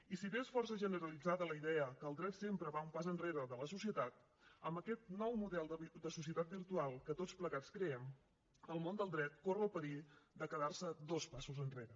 i si bé és força generalitzada la idea que el dret sempre va un pas enrere de la societat amb aquest nou model de societat virtual que tots plegats creem el món del dret corre el perill de quedar se dos passos enrere